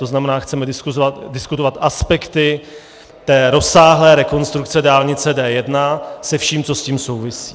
To znamená, chceme diskutovat aspekty rozsáhlé rekonstrukce dálnice D1 se vším, co s tím souvisí.